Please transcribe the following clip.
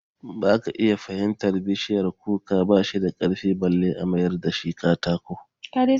Zaka iya fahimtar itacen bishiyar kuka ba shi da karfi balle a mayar da shi katako